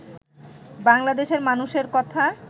বাংলাদেশের মানুষের কথা